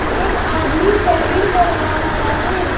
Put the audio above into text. एक आदमी शैविंग करवा रहा है।